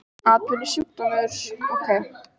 Það mætti kalla það atvinnusjúkdóm.